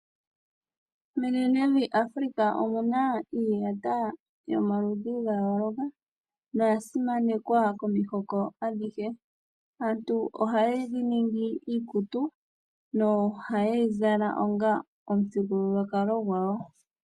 Menenevi African omuna iiyata yayooloka, no yasimanekwa komihoko adhihe. Aantu ohayi ningi iikutu noha yeyi zala onga omuthigululwakalo gwawo.